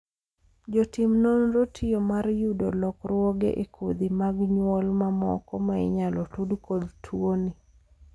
jotim nonro tiyo mar yudo lokruoge e kodhi mag nyuol mamoko ma inyalo tud kod tuoni